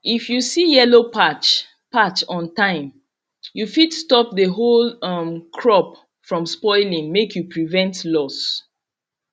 if you see yellow patch patch on time you fit stop the whole um crop from spoiling make you prevent loss